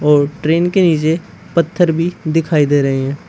और ट्रेन के नीचे पत्थर भी दिखाई दे रहे है।